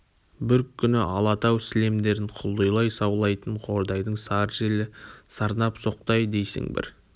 бір күні алатау сілемдерін құлдилай саулайтын қордайдың сары желі сарнап соқты-ай дейсің бір